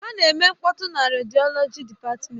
Ha na-eme mkpọtụ na rediọlọji dịpatmenti.